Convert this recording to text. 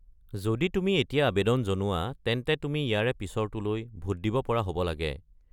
যদি তুমি এতিয়া আৱেদন জনোৱা তেন্তে তুমি ইয়াৰে পিছৰটোলৈ ভোট দিব পৰা হ'ব লাগে।